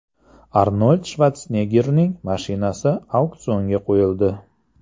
Arnold Shvarseneggerning mashinasi auksionga qo‘yildi.